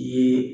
Ye